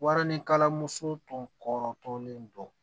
Wara ni kalan muso tɔɔrɔ tɔlen don